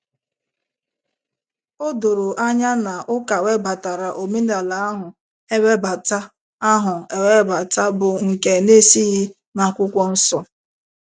O doro anya na ụka webatara omenala ahụ ewebata ahụ ewebata bụ́ nke na - esighị na akwụkwọ nsọ.